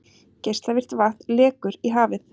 Geislavirkt vatn lekur í hafið